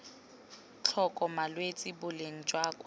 tlhoka malwetse boleng jwa kwa